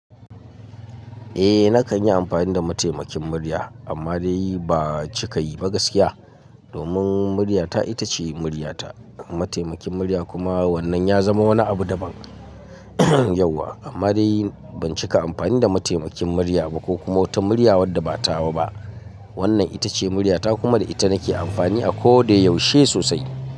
Eh nakan yi amfani da mataimakin murya amma dai ba cikayi ba gaskiya. Domin murya ta ita ce murya ta. Mataimakin murya kuma wannan ya zama wani abu daban yauwa. Amma dai ban cika amfani da mataimakin murya ba ko kuma wata murya wadda ba tawa ba. Wannan ita ce murya ta kuma da ita nake amfani a ko da yaushe sosai.